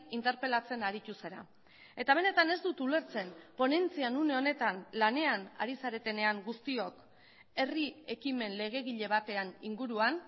interpelatzen aritu zara eta benetan ez dut ulertzen ponentzian une honetan lanean ari zaretenean guztiok herri ekimen legegile batean inguruan